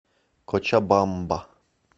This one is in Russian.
кочабамба